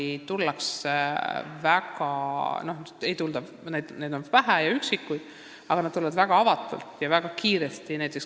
Sealt tullakse meile vähe, aga need üksikud inimesed tulevad siia väga avatult ja kohanevad väga kiiresti.